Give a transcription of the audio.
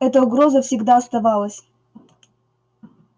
эта угроза всегда оставалась